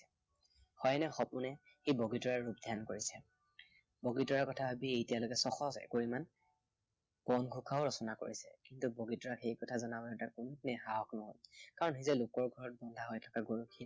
শয়নে সোপনে সি বগীতৰাকে ধ্য়ান কৰিছে। বগীতৰাকে কথা ভাবিয়েই এতিয়ালৈকে এশ একুৰিমান বনঘোষাও ৰচনা কৰিলে। কিন্তু বগীতৰাক সেই কথা জনাবলৈ তাৰ কোনোদিনেই সাহস নহল। কাৰণ সি যে লোকৰ ঘৰত বন্ধা হৈ থকা গৰখীয়া